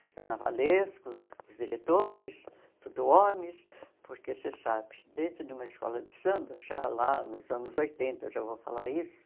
Os carnavalescos, os diretores, tudo homens, porque você sabe, dentro de uma escola de samba, já lá nos anos oitenta, eu já vou falar isso,